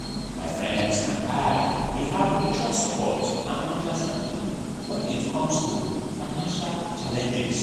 my friends and i dey have mutual support and understanding when it comes to financial challenges.